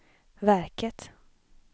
verket